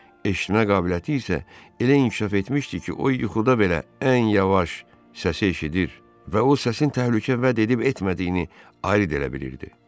Eşitmə qabiliyyəti isə elə inkişaf etmişdi ki, o yuxuda belə ən yavaş səsi eşidir və o səsin təhlükə vəd edib-etmədiyini ayırd edə bilirdi.